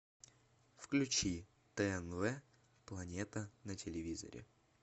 включи тнв планета на телевизоре